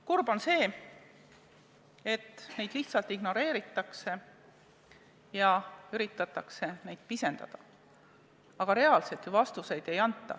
Kurb on see, et neid lihtsalt ignoreeritakse ja üritatakse pisendada, aga reaalselt vastuseid ei anta.